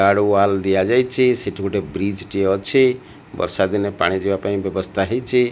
Card wall ଦିଆ ଯାଇଚି ସେଠି ଗୋଟେ ବ୍ରିଜ ଟିଏ ଅଛି ବର୍ଷା ଦିନେ ପାଣି ଯିବା ପାଇଁ ବ୍ୟବସ୍ଥା ହେଇଚି ।